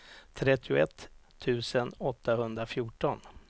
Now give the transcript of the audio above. trettioett tusen åttahundrafjorton